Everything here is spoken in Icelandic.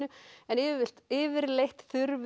en yfirleitt yfirleitt